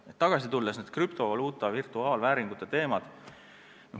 Tagasi algusse tulles: krüptovaluuta, virtuaalvääringud.